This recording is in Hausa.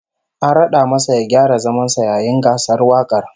An rad'a masa ya gyara zaman sa yayin gasar wakar